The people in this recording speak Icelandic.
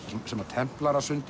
sem